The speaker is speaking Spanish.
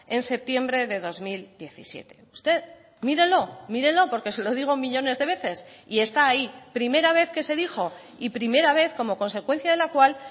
en septiembre de dos mil diecisiete usted mírelo mírelo porque se lo digo millónes de veces y está ahí primera vez que se dijo y primera vez como consecuencia de la cual